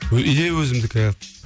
идея өзімдікі